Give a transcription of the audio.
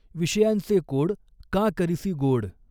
विषयांचॆ कॊड कां करिसी गॊड.